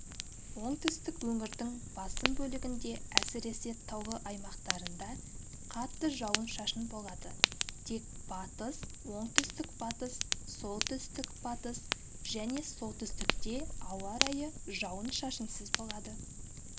оңтүстік өңірдің басым бөлігінде әсіресе таулы аймақтарында қатты жауын-шашын болады тек батыс оңтүстік-батыс солтүстік-батыс және солтүстікте ауа райы жауын-шашынсыз болады